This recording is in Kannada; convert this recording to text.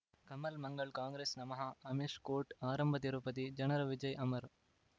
ಕಮಲ್ ಮಂಗಳ್ ಕಾಂಗ್ರೆಸ್ ನಮಃ ಅಮಿಷ್ ಕೋರ್ಟ್ ಆರಂಭ ತಿರುಪತಿ ಜನರ ವಿಜಯ ಅಮರ್